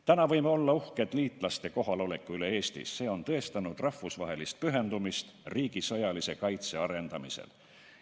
Täna võime olla uhked liitlaste kohaloleku üle Eestis, see on tõestanud rahvusvahelist pühendumist riigi sõjalise kaitse arendamisel.